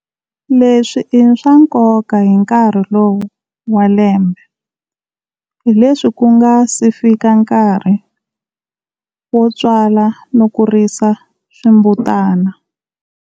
Leswi i swa nkoka hi nkarhi lowu wa lembe, hi leswi ku nga si fika nkarhi yo tswala no kurisa swimbutana.